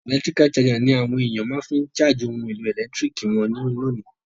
Electrical charger ni àwon èyàn ma fi n charge oun èlò ẹ̀lẹ́ntiriki won lónìí